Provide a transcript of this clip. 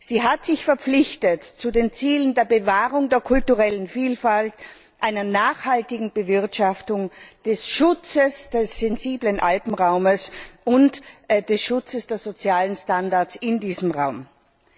Sie hat sich den Zielen der Bewahrung der kulturellen Vielfalt, einer nachhaltigen Bewirtschaftung, des Schutzes des sensiblen Alpenraums und des Schutzes der sozialen Standards in diesem Raum verpflichtet.